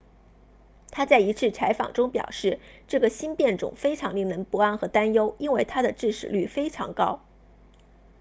他在一次采访中表示这个新变种非常令人不安和担忧因为它的致死率非常高